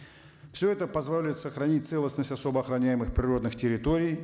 все это позволит сохранить целостность особо охроняемых природных территорий